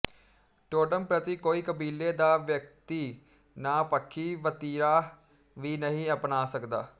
totem ਪ੍ਰਤੀ ਕੋਈ ਕਬੀਲੇ ਦਾ ਵਿਅਕਤੀ ਨਾਹ ਪੱਖੀ ਵਤੀਰਾ ਵੀ ਨਹੀਂ ਅਪਣਾ ਸਕਦਾ